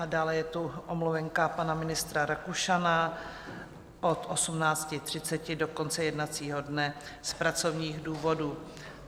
A dále je tu omluvenka pana ministra Rakušana od 18.30 do konce jednacího dne z pracovních důvodů.